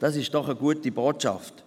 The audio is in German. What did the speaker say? Das ist doch eine gute Botschaft.